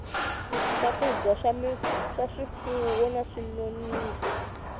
swakudya swa swifuwo na swinonisi